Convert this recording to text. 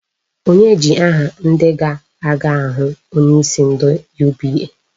Onye ji aha ndị ga-aga ahụ onyeisi ndị UBA?